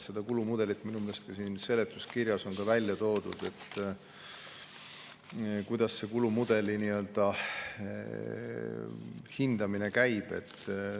See kulumudel on minu meelest ka seletuskirjas välja toodud, siin on näidatud, kuidas see hindamine käib.